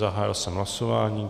Zahájil jsem hlasování.